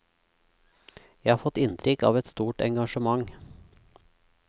Jeg har fått inntrykk av et stort engasjement.